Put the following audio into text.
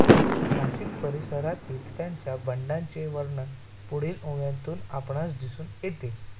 नाशिक परिसरातील त्याच्या बंडाचे वर्णन पुढील ओव्यांतून आपणास दिसून येते